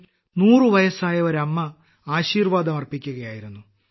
അതിൽ 100 വയസ്സായ ഒരമ്മ ആശീർവാദം അർപ്പിക്കുകയായിരുന്നു